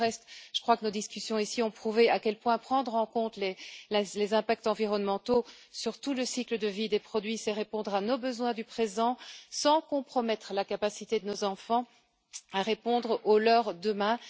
Pour le reste, je crois que nos discussions ont prouvé à quel point prendre en compte les impacts environnementaux tout au long du cycle de vie des produits, c'est répondre à nos besoins du présent, sans compromettre la capacité de nos enfants à répondre à leurs besoins de demain.